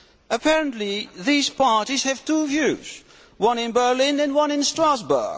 Apparently these parties have two views one in Berlin and one in Strasbourg.